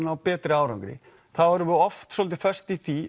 ná betri árangri þá erum við oft svolítið föst í því